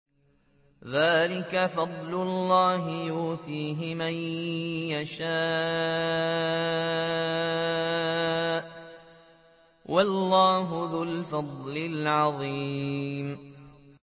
ذَٰلِكَ فَضْلُ اللَّهِ يُؤْتِيهِ مَن يَشَاءُ ۚ وَاللَّهُ ذُو الْفَضْلِ الْعَظِيمِ